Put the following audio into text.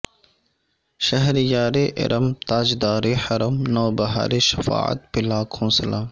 شہریار ارم تاجدار حرم نوبہار شفاعت پہ لاکھوں سلام